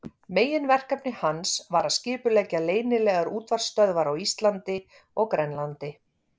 Meginverkefni hans var að skipuleggja leynilegar útvarpsstöðvar á Íslandi og Grænlandi.